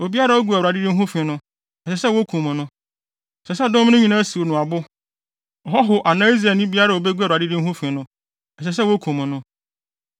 obiara a ogu Awurade din ho fi no, ɛsɛ sɛ wokum no. Ɛsɛ sɛ dɔm no nyinaa siw no abo. Ɔhɔho anaa Israelni biara a obegu Awurade din ho fi no, ɛsɛ sɛ wokum no.